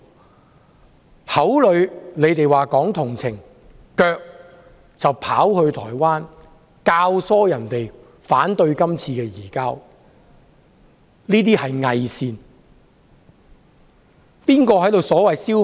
他們口裏說同情，腳則跑到台灣，教唆別人反對《逃犯條例》，這是偽善。